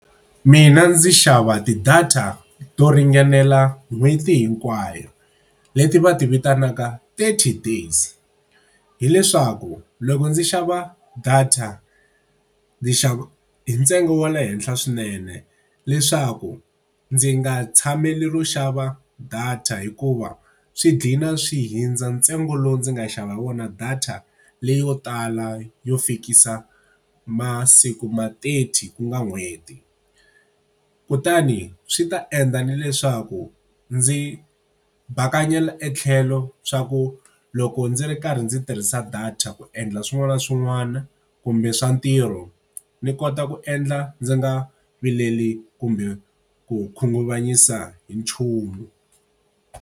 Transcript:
Mina ndzi xava ti-data to ringanela n'hweti hinkwayo, leti va ti vitanaka thirty days. Hi leswaku loko ndzi xava data ndzi xava hi ntsengo wa le henhla swinene, leswaku ndzi nga tshameli ro xava data hikuva swi ghina swi hundza ntsengo lowu ndzi nga xava hi vona data leyo tala yo fikisa masiku ma thirty ku nga n'hweti. Kutani swi ta endla na leswaku ndzi bakanyela etlhelo swa ku loko ndzi ri karhi ndzi tirhisa data ku endla swin'wana na swin'wana kumbe swa ntirho, ni kota ku endla ndzi nga vileli kumbe ku khunguvanyisa hi nchumu.